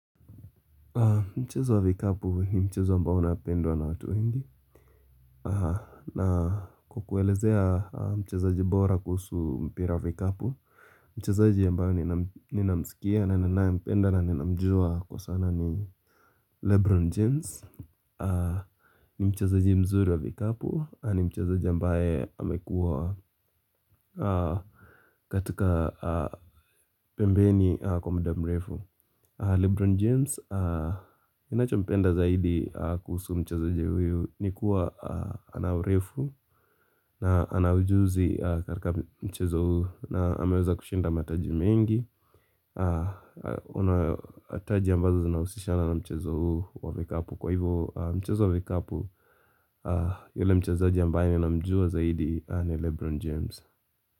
Mchezo wa vikapu ni mchezo ambao unapendwa na watu wengi na kukuelezea mchezaji bora kusu mpira vikapu Mchezaji ambaye ninamsikia na ninaempenda na ninamjua kwa sana ni Lebron James ni mchezaji mzuri wa vikapu ni mchezaji ambae amekuwa katika pembeni kwa mda mrefu Lebron James inacho mpenda zaidi kuhusu mchezaji huyu ni kuwa ana urefu na ana ujuzi karka mchezo huu na ameweza kushinda mataji mengi una taji ambazo zinausishana na mchezo huu wa vikapu kwa hivo mchezo wa vikapu yule mchezaji ambaye ninamjua zaidi ni Lebron James.